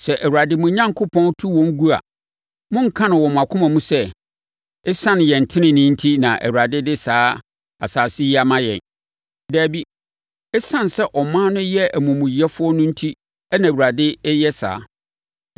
Sɛ Awurade, mo Onyankopɔn, tu wɔn gu a, monnka no wɔ mo akoma mu sɛ, “Esiane yɛn tenenee enti na Awurade de saa asase yi ama yɛn.” Dabi. Esiane sɛ aman no yɛ amumuyɛfoɔ no enti na Awurade reyɛ saa.